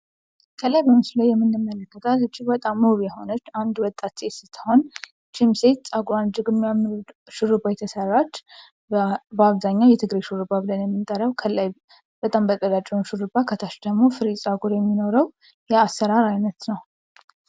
ከላይ በምስሉ የምንመለከታት እጅግ በጣም ውብ የሆነች አንድ ወጣት ሴት ስትሆን ይችም ሴት ፀጉሯን የሚያምር ሹሩባ የተሰራች በአብዛኛው የትግሬ ሹሩባ ብለን የምንጠራው ከላይ በጣም በቀጫጭኑ ሹሩባ ከታች ደግሞ ፍሬዝ የሚኖረው ለአሰራር አመቺ ነው።